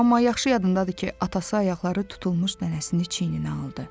Amma yaxşı yadımdadır ki, atası ayaqları tutulmuş nənəsini çiyninə aldı.